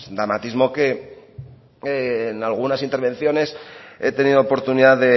dramatismo que en algunas intervenciones he tenido oportunidad